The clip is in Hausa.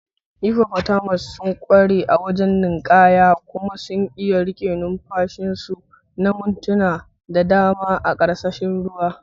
hippotatamus sun ƙware a wajen ninkaya, kuma suna iya riƙe numfashin su na mintuna da dama a ƙarƙashin ruwa.